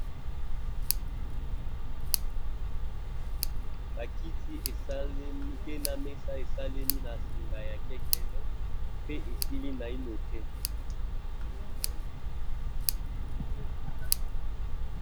bakiti esalemi pena mesa esalemi na singa ya kekele pe esili naino te